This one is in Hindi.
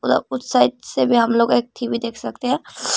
अ उस साइड से भी हम लोग एक टी_वी देख सकते हैं।